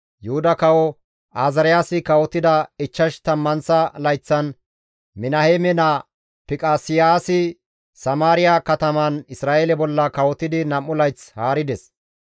Yuhuda kawo Azaariyaasi kawotida ichchash tammanththa layththan Minaheeme naa Fiqaseyaasi Samaariya kataman Isra7eele bolla kawotidi 2 layth haarides.